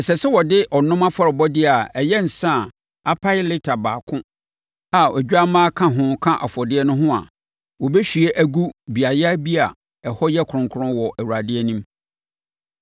Ɛsɛ sɛ wɔde ɔnom afɔrebɔdeɛ a ɛyɛ nsã a apae lita baako a odwammaa ka ho ka afɔrebɔdeɛ no ho a wɔbɛhwie agu beaeɛ bi a ɛhɔ yɛ kronkron wɔ Awurade anim.